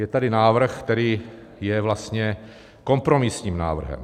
Je tady návrh, který je vlastně kompromisním návrhem.